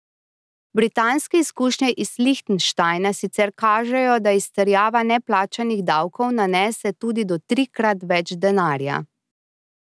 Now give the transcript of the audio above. Britanske izkušnje iz Lihtenštajna sicer kažejo, da izterjava neplačanih davkov nanese tudi do trikrat več denarja.